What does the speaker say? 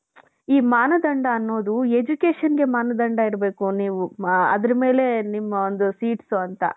ಈ ಮಾನದಂಡ ಅನ್ನೋದು educationಗೆ ಮಾನದಂಡ ಇರಬೇಕು ನೀವು ಅದರ ಮೇಲೆ ನಿಮ್ಮ ಒಂದು seats ಅಂತ .